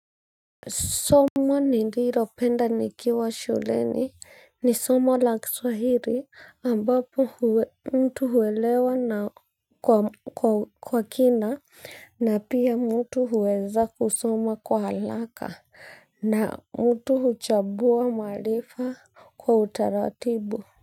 Soma nililopenda nikiwa shuleni ni somo la kiswahili ambapo mtu huelewa kwa kina na pia mtu huweza kusoma kwa haraka na mtu huchambua maarifa kwa utaratibu.